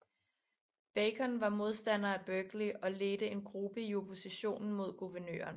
Bacon var modstander af Berkeley og ledte en gruppe i oppositionen mod guvernøren